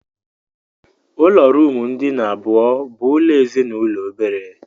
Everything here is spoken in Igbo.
Ụlọ ruumu ndina abụọ bụ ụlọ ezinụlọ obere.